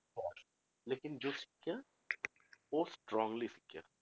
ਲੇਕਿੰਨ ਜੋ ਸਿੱਖਿਆ ਉਹ strongly ਸਿੱਖਿਆ।